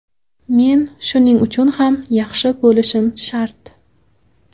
Men shuning uchun ham yaxshi bo‘lishim shart.